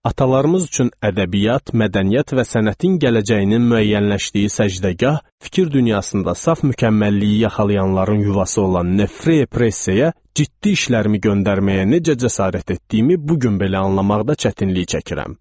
Atalarımız üçün ədəbiyyat, mədəniyyət və sənətin gələcəyinin müəyyənləşdiyi səcdəgah, fikir dünyasında saf mükəmməlliyi yaxalayanların yuvası olan Nefre Press-ə ciddi işlərimi göndərməyə necə cəsarət etdiyimi bu gün belə anlamaqda çətinlik çəkirəm.